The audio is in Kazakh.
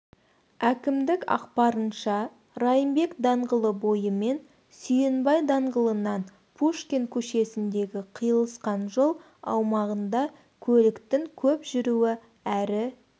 әкімдік ақпарынша райымбек даңғылы бойымен сүйінбай даңғылынан пушкин көшесіндегі қиылысқан жол аумағында көліктің көп жүруі әрі